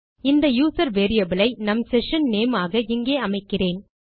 இந்த user variable ஐ நம் செஷன் நேம் ஆக இங்கே அமைக்கிறேன்